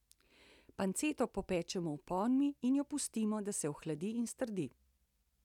Panceto popečemo v ponvi in jo pustimo, da se ohladi in strdi.